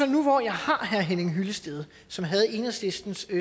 nu hvor jeg har herre henning hyllested som havde enhedslistens